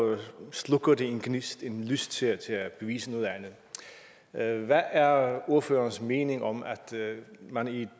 slukker det en gnist en lyst til at til at bevise noget andet hvad er ordførerens mening om at man i